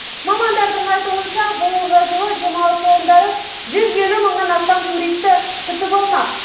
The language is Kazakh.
мамандардың айтуынша биылғы жылы демалыс орындары жүз елу мыңнан астам туристі күтіп алмақ